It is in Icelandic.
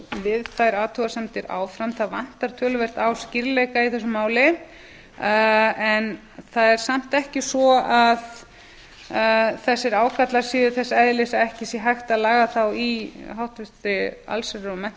við þær athugasemdir áfram það vantar töluvert á skýrleika í þessu máli en það er samt ekki svo að þessir ágallar séu þess eðlis að ekki sé hægt að laga þá í háttvirtri allsherjar og